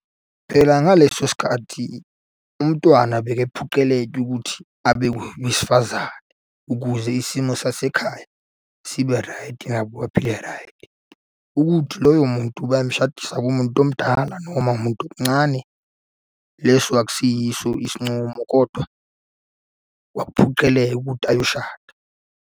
Phela ngaleso sikhathi umntwana bekephoqeleka ukuthi abe owesifazane ukuze isimo sasekhaya sibe raydi, nabo baphile raydi, ukuthi loyo muntu bamshadisa kumuntu omdala noma umuntu omuncane, leso akusiyiso isincumo kodwa kwakuphoceleka ukuthi ayoshada.